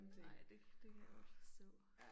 Ej det det kan jeg det kan jeg godt forstå